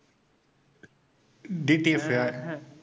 TTF